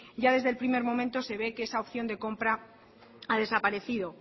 ya desde el primer momento se ve que esa opción de compra ha desaparecido